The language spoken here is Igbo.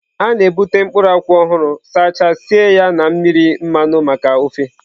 A na-ebute mkpụrụ nkwụ ọhụrụ, sachaa, sie ya na mmiri mmanụ maka ofe.